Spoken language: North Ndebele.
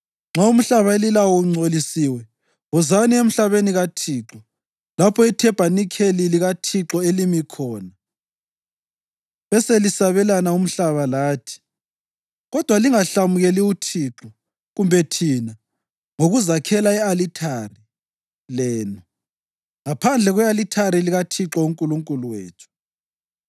Nxa umhlaba elilawo ungcolisiwe wozani emhlabeni kaThixo lapho ithabanikeli likaThixo elimi khona beselisabelana umhlaba lathi. Kodwa lingahlamukeli uThixo kumbe thina ngokuzakhela i-alithari lenu, ngaphandle kwe-alithari likaThixo uNkulunkulu wethu.